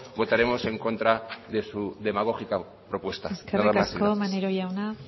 votaremos en contra de su demagógica propuesta nada más y gracias eskerrik asko maneiro jauna